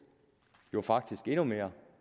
jo faktisk endnu mere